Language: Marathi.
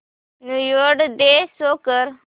न्यू इयर डे शो कर